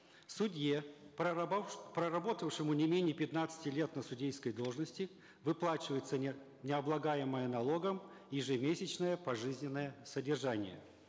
судье проработавшему не менее пятнадцати лет на судейской должности выплачивается не облагаемое налогом ежемесячное пожизненное содержание